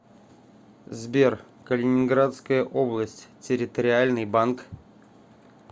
сбер калининградская область территориальный банк